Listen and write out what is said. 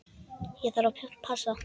Ég þarf að passa.